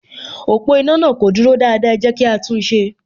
Ọ̀pọ̀ iná náà kò dúró dáadáa, ẹ jẹ́ kí á tún un ṣe